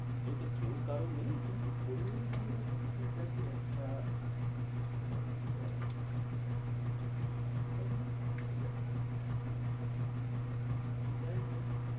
আজকাল তো কেউ কারোর নেই, কিন্তু করে দিলে কী আছে ঠিক আছে একটা ছোট ভাইপো আছে, এটাই জন্য ভাবছিলাম। যাই হোক।